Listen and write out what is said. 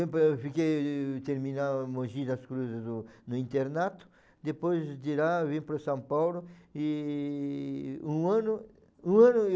Eu fiquei, terminava Mogi das Cruzes no no internato, depois de lá eu vim para São Paulo e um ano um ano